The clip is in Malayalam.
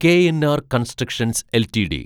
KNR constructions LTD